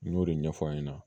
N y'o de ɲɛfɔ a ɲɛna